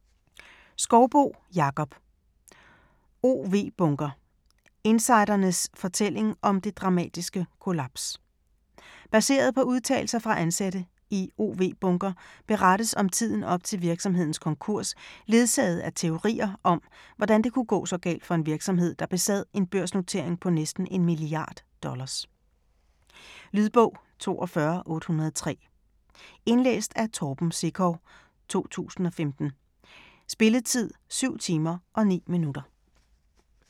Skouboe, Jakob: OW Bunker: insidernes fortælling om det dramatiske kollaps Baseret på udtalelser fra ansatte i OW Bunker berettes om tiden op til virksomhedens konkurs ledsaget af teorier om, hvordan det kunne gå så galt for en virksomhed der besad en børsnotering på næsten en milliard dollars. Lydbog 42803 Indlæst af Torben Sekov, 2015. Spilletid: 7 timer, 9 minutter.